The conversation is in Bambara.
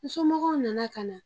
Nsomɔgɔw nana ka na